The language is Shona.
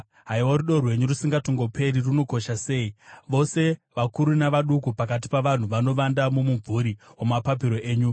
Haiwa rudo rwenyu rusingatongoperi runokosha sei! Vose vakuru navaduku pakati pavanhu vanovanda mumumvuri wamapapiro enyu.